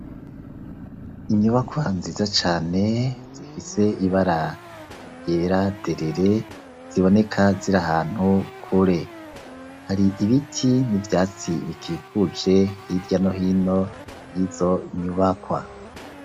Inyubakwa nziza cane, zifise ibara ryera derere, ziboneka ziri ahantu kure, hari ibiti n'ivyatsi bikikuje hirya no hino y'izo nyubakwa.